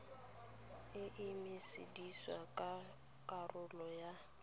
e emiseditswe ka karolo ya